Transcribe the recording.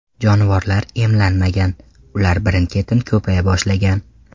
Jonivorlar emlanmagan, ular birin-ketin ko‘paya boshlagan.